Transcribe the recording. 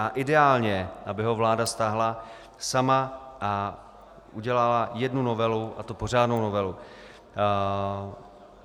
A ideálně, aby ho vláda stáhla sama a udělala jednu novelu, a to pořádnou novelu.